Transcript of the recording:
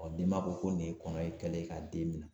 denba ko nin ye kɔnɔ kɛlɛ ye k'a den minɛ.